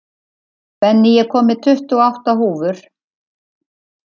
Benný, ég kom með tuttugu og átta húfur!